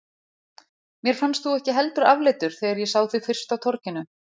Mér fannst þú ekki heldur afleitur þegar ég sá þig fyrst á torginu.